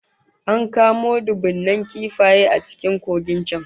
An kamo dubunnan kifaye a cikin kogin can